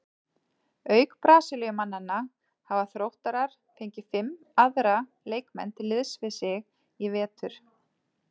Auk Brasilíumannanna hafa Þróttarar fengið fimm aðra leikmenn til liðs við sig í vetur.